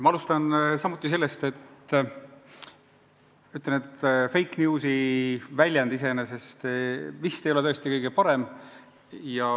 Ma alustan samuti sellest, et ütlen, et fake news'i väljend iseenesest vist ei ole tõesti kõige parem.